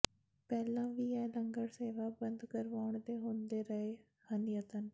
ਪਹਿਲਾਂ ਵੀ ਇਹ ਲੰਗਰ ਸੇਵਾ ਬੰਦ ਕਰਵਾਉਣ ਦੇ ਹੁੰਦੇ ਰਹੇ ਹਨ ਯਤਨ